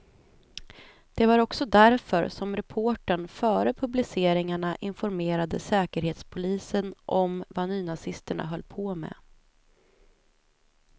Det var också därför som reportern före publiceringarna informerade säkerhetspolisen om vad nynazisterna höll på med.